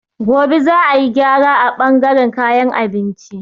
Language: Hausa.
Gobe za a yi gyara a bangaren kayan abinci.